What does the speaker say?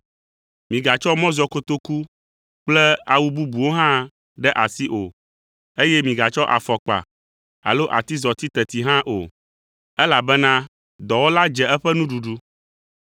migatsɔ mɔzɔkotoku kple awu bubuwo hã ɖe asi o, eye migatsɔ afɔkpa alo atizɔti teti hã o, elabena dɔwɔla dze eƒe nuɖuɖu.